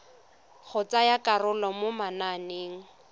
go tsaya karolo mo mananeng